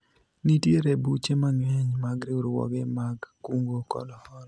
nitiere buche mang'eny mag riwruoge mag kungo kod hola